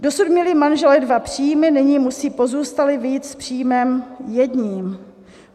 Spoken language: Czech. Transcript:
Dosud měli manželé dva příjmy, nyní musí pozůstalý vyjít s příjmem jedním.